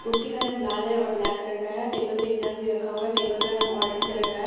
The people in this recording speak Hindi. कुर्सी का रंग लाल है और ब्लैक कलर का है टेबल पे एक जग भी रखा हुआ है टेबल का रंग ऑरेंज कलर का है और --